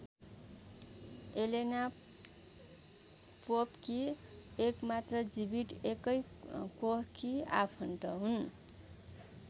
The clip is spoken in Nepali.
एलेना पोपकी एकमात्र जीवित एकै कोखकी आफन्त हुन्।